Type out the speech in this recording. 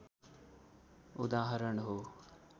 उदाहरण हो